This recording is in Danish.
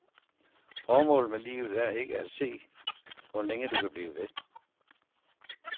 Formålet med livet er ikke at se, hvor længe du kan blive ved.